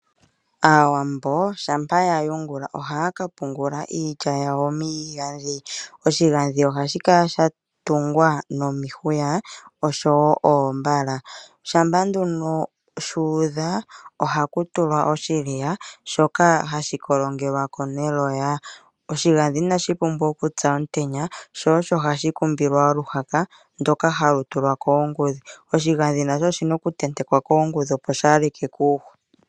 Aawambo shampa yayungula ohaya kapungula iilya yawo miigadhi. Oshigadhi kala shatungwa nomihuya, oshowo noombala shampa nduno shuuda ohakutulwa oshidhiya shoka hashikolongelwako neloya. Oshigadhi inashipumbwa okupya omtenya sho osho hashi kumbilwa oluhaka shoka hashitulwa koongudhi oshigadhi nasho ohashi tulwa koongudhi